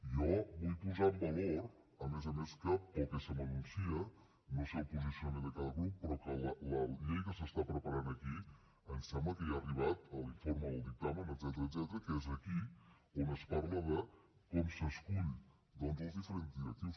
i jo vull posar en valor a més a més que pel que se m’anuncia no en sé el posicionament de cada grup la llei que se n’està preparant aquí em sembla que ja ha arribat a l’informe del dictamen etcètera que és aquí on es parla de com s’escullen doncs els diferents directius